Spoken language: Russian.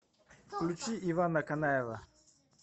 включи ивана канаева